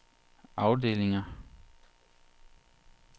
afdelinger